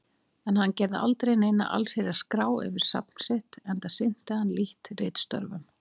En hann gerði aldrei neina allsherjar-skrá yfir safn sitt, enda sinnti hann lítt ritstörfum.